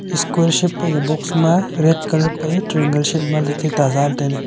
square shape phaika box ma red colour phai triangle shape ma ta jala tailey.